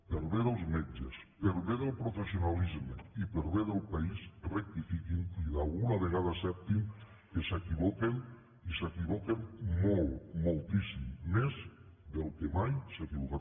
per al bé dels metges per al bé del professionalisme i per al bé del país rectifiquin i d’alguna vegada acceptin que s’equivoquen i s’equivoquen molt moltíssim més del que mai s’ha equivocat ningú